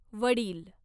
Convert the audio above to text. वडिल